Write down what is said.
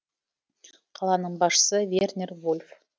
қаланың басшысы вернер вольф